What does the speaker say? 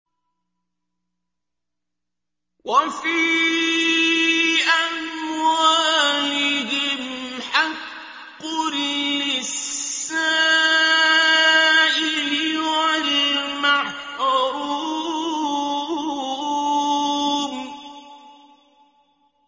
وَفِي أَمْوَالِهِمْ حَقٌّ لِّلسَّائِلِ وَالْمَحْرُومِ